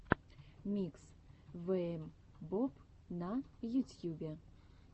микс вээмбоб на ютьюбе